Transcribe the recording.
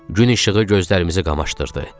Gün işığı gözlərimizi qamaşdırdı.